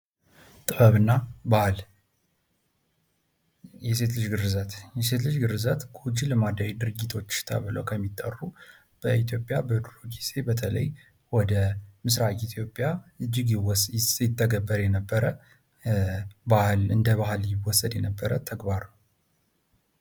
ጥበብና ባህል የሴት ልጅ ግርዛት፦ የሴት ልጅ ግርዛት ጎጂ ልማዳዊ ድርጊቶች ተብሎ ከሚጠሩ በኢትዮጵያ በድሮ ጊዜ በተለይ ወደ ምስራቅ ኢትዮጵያ እጅግ ይተገበር የነበረ እንደ ባህል ይወሰድ የነበረ ተግባር ነው።